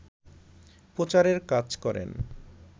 প্রচারের কাজ করেন